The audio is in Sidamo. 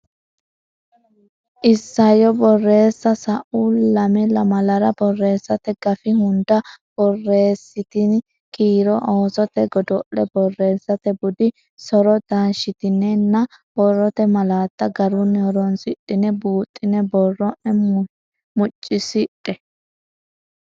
Isayyo Borreessa Sa u lame lamalara borreessate gafi hunda borreessitini kiiro oosote godo le borreessate budi so ro taashshitinenna borrote malaatta garunni horonsidhine buuxxine borro ne muccisidhe.